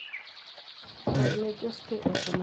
Orne Jospeh ote mar mbui kendo wachne ni otim piyo.